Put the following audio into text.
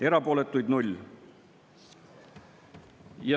Erapooletuid 0.